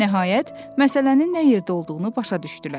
Nəhayət, məsələnin nə yerdə olduğunu başa düşdülər.